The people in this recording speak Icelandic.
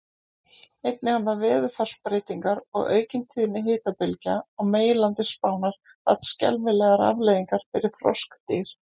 Einnig hafa veðurfarsbreytingar og aukin tíðni hitabylgja á meginlandi Spánar haft skelfilegar afleiðingar fyrir froskdýr.